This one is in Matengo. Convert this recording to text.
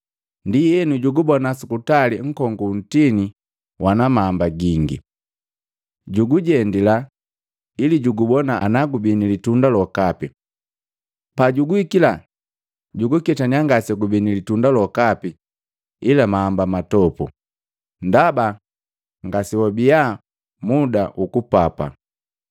Ndienu, jugubona sukutali nkongu wu ntini wana mahamba gingi. Jugujendila jugubona ana gubii nili tunda lokapi. Pajuguhikila, juguketanya ngasegubii ni litunda lokapi ila mahamba matopu, ndaba ngasiwabia muda hukupapa.